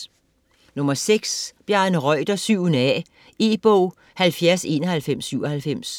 Reuter, Bjarne: 7. a E-bog 709197